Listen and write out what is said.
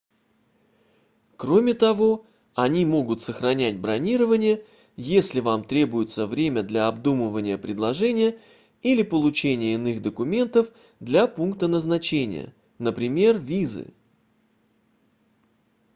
кроме того они могут сохранять бронирование если вам требуется время для обдумывания предложения или получения иных документов для пункта назначения например визы